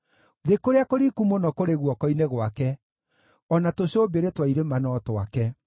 Thĩ kũrĩa kũriku mũno kũrĩ guoko-inĩ gwake, o na tũcũmbĩrĩ twa irĩma no twake.